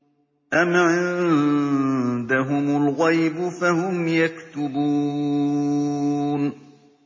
أَمْ عِندَهُمُ الْغَيْبُ فَهُمْ يَكْتُبُونَ